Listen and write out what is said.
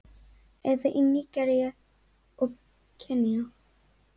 Eða í Nígeríu og Kenía?